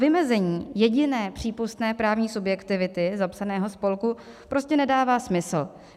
Vymezení jediné přípustné právní subjektivity zapsaného spolku prostě nedává smysl.